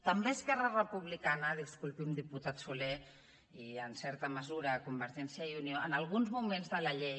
també esquerra republicana disculpi’m diputat solé i en certa mesura convergència i unió en alguns moments de la llei